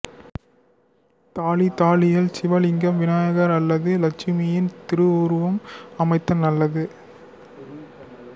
தாலி தாலியில் சிவலிங்கம் விநாயகர் அல்லது லட்சுமியின் திருவுருவம் அமைத்தல் நல்லது